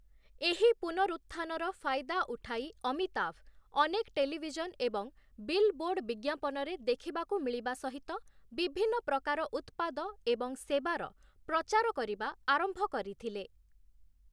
ଏହି ପୁନରୁତ୍ଥାନର ଫାଇଦା ଉଠାଇ ଅମିତାଭ ଅନେକ ଟେଲିଭିଜନ ଏବଂ ବିଲବୋର୍ଡ଼୍ ବିଜ୍ଞାପନରେ ଦେଖିବାକୁ ମିଳିବା ସହିତ, ବିଭିନ୍ନ ପ୍ରକାର ଉତ୍ପାଦ ଏବଂ ସେବାର ପ୍ରଚାର କରିବା ଆରମ୍ଭ କରିଥିଲେ ।